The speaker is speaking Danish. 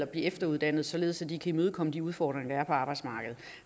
blive efteruddannet således at de kan imødekomme de udfordringer der er på arbejdsmarkedet